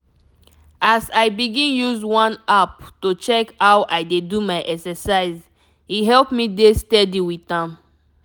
as i begin use one app to check how i dey do my exercise e help me dey steady with am.